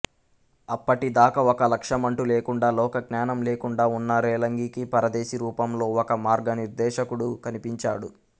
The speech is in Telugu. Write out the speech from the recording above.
అప్పటి దాకా ఒక లక్ష్యమంటూ లేకుండా లోకజ్ఞానం లేకుండా ఉన్న రేలంగికి పరదేశి రూపంలో ఒక మార్గనిర్దేశకుడు కనిపించాడు